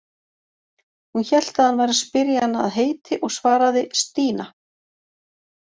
Hún hélt að hann væri að spyrja hana að heiti og svaraði: Stína.